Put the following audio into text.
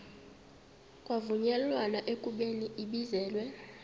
kwavunyelwana ekubeni ibizelwe